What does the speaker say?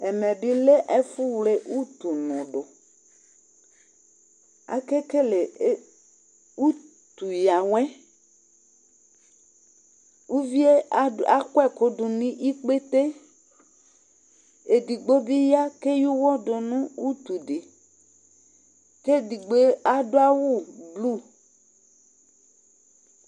Ɛmɛ bɩ lɛ ɛfʋwle utunu dʋ Akekele e utuyǝwɛ Uvi yɛ adʋ akɔ ɛkʋ dʋ nʋ ikpete Edigbo bɩ ya kʋ eyǝ ʋɣɔ dʋ nʋ utu dɩ kʋ edigbo adʋ awʋblu